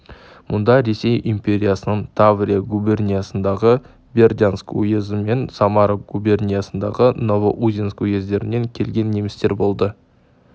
мұнда ресей империясының таврия губерниясындағы бердянск уезі мен самара губерниясындағы новоузенск уездерінен келген немістер болды